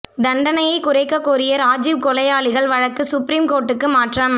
தண்டனையைக் குறைக்கக் கோரிய ராஜீவ் கொலையாளிகள் வழக்கு சுப்ரீம் கோர்ட்டுக்கு மாற்றம்